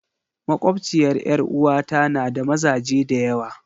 Makwabciyar 'yar uwata na da mazaje da yawa.